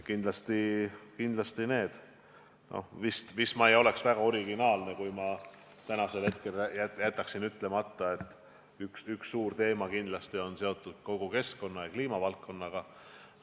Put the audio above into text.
Ma vist oleksin väga originaalne, kui jätaksin täna ütlemata, et üks suur teema kindlasti on seotud kogu keskkonna- ja kliimavaldkonnaga.